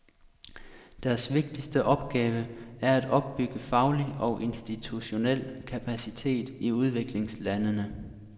Deres vigtigste opgave er at opbygge faglig og institutionel kapacitet i udviklingslandene.